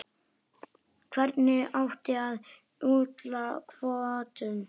Hvernig átti að úthluta kvótum?